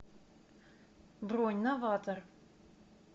бронь новатор